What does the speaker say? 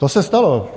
To se stalo.